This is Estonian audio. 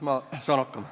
Ma saan hakkama.